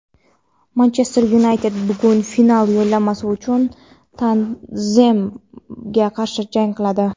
"Manchester Yunayted" bugun final yo‘llanmasi uchun "Tottenhem"ga qarshi jang qiladi.